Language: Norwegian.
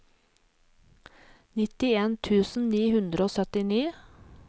nitten tusen ni hundre og syttini